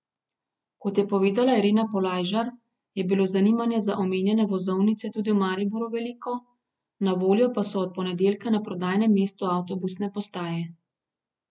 Kot je povedala Irena Polajžar, je bilo zanimanje za omenjene vozovnice tudi v Mariboru veliko, na voljo pa so od ponedeljka na prodajnem mestu avtobusne postaje.